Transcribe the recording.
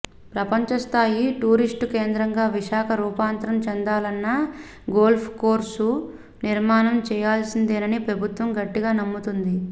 ప్రపంచ స్థాయి టూరిస్టు కేంద్రంగా విశాఖ రూపాంతరం చెందాలన్నా గోల్ఫ్ కోర్సు నిర్మాణం చేయాల్సిందేనని ప్రభుత్వం గట్టిగా నమ్ముతుంది